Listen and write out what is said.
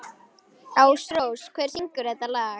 Ásrós, hver syngur þetta lag?